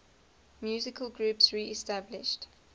musical groups reestablished